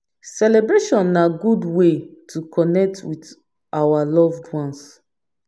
Celebration na good way to connect with our loved ones